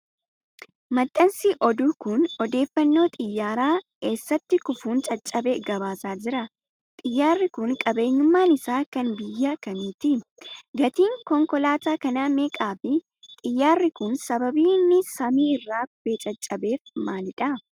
Maxxansi oduu kun, odeeffannoo xiyyaara eessatti kufuun caccabe gabaasaa jira? Xiyyaarri kun qabeenyummaan isaa kan biyya kamiiti? Gatiin konkolaataa kanaa meeqa fi xiyyaarri kun sababni inni samii irraa kufee caccabeef maalidha?